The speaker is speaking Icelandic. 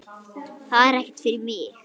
Þetta er ekkert fyrir mig.